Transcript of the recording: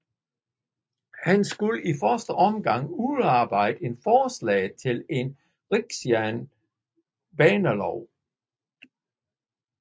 Han skulle i første omgang udarbejde et forslag til en rigsjernbanelov